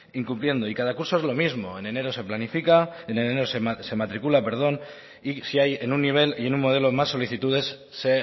incumpliendo y cada curso es lo mismo en enero se planifica en enero se matricula perdón y si hay en un nivel y en un modelo más solicitudes se